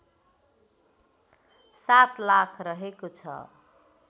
७ लाख रहेको छ